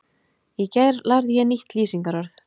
Í gær lærði ég nýtt lýsingarorð.